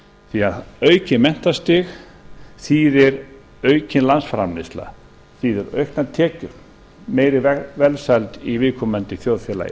því að aukið menntastig þýðir aukin landsframleiðsla þýðir auknar tekjur meiri velsæld í viðkomandi þjóðfélagi